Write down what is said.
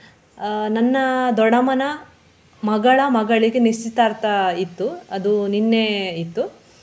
ಆಹ್ ನನ್ನ ದೊಡ್ಡಮ್ಮನ ಮಗಳ ಮಗಳಿಗೆ ನಿಶ್ಚಿತಾರ್ಥ ಇತ್ತು ಅದು ನಿನ್ನೆಇತ್ತು.